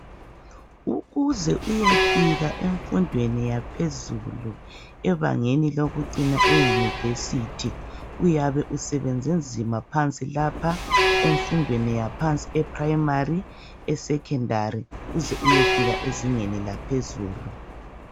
Ukuze uyefika emfundweni yaphezulu, ebangeni lokucina eyunivesithi, uyabe usebenze nzima phansi lapha emfundweni yaphansi eprayimari, esekhendari, uze uye fika ezingeni laphezulu.